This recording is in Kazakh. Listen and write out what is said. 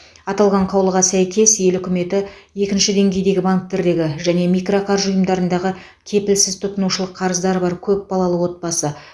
аталған қаулыға сәйкес ел үкіметі екінші деңгейдегі банктердегі және микроқаржы ұйымдарындағы кепілсіз тұтынушылық қарыздары бар көпбалалы отбасы